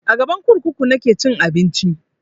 A gaban kurkuku nake cin abinci